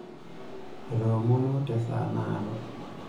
otoomonuo te saa naado